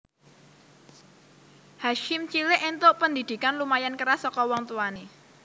Hasyim cilik entuk pendhidhikan lumayan keras saka wong tuwane